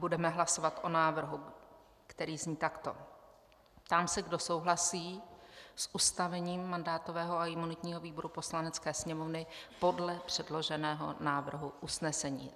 Budeme hlasovat o návrhu, který zní takto: Ptám se, kdo souhlasí s ustavením mandátového a imunitního výboru Poslanecké sněmovny podle předloženého návrhu usnesení.